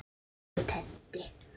Elsku Teddi.